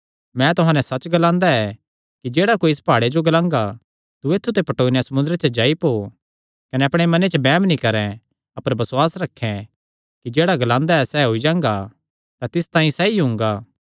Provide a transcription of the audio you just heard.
मैं तुहां नैं सच्च ग्लांदा ऐ कि जेह्ड़ा कोई इस प्हाड़े जो ग्लांगा तू पटौई नैं समुंदरे च जाई पो कने अपणे मने च बैम नीं करैं अपर बसुआस रखैं कि जेह्ड़ा ग्लांदा ऐ सैह़ होई जांगा तां तिस तांई सैई हुंगा